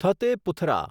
થતે પુથરા